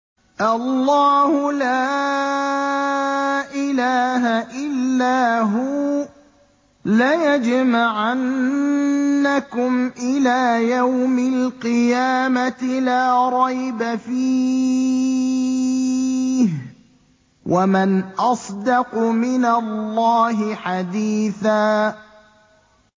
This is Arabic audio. اللَّهُ لَا إِلَٰهَ إِلَّا هُوَ ۚ لَيَجْمَعَنَّكُمْ إِلَىٰ يَوْمِ الْقِيَامَةِ لَا رَيْبَ فِيهِ ۗ وَمَنْ أَصْدَقُ مِنَ اللَّهِ حَدِيثًا